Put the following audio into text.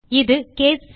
இது கேஸ் 0